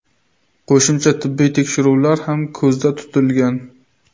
Qo‘shimcha tibbiy tekshiruvlar ham ko‘zda tutilgan.